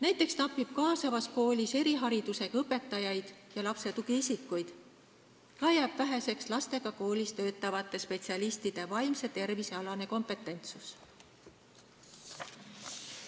Näiteks napib kaasavas koolis eriharidusega õpetajaid ja lapse tugiisikuid, ka jääb väheseks lastega koolis töötavate spetsialistide vaimse tervise alane kompetentsus.